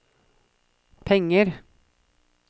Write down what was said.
penger